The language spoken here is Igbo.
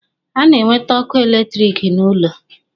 A na-ewete ọkụ electric n'ụlọ